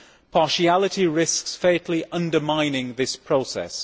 Partiality risks fatally undermining this process.